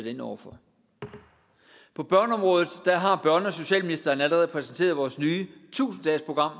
ind over for på børneområdet har børne og socialministeren allerede præsenteret vores nye tusind dagesprogram